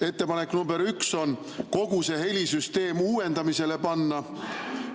Ettepanek nr 1 on kogu see helisüsteem uuendamisele panna